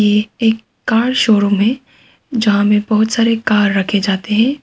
ये एक car showroom है जहां में बहुत सारे कार रखे जाते हैं।